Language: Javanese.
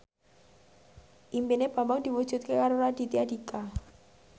impine Bambang diwujudke karo Raditya Dika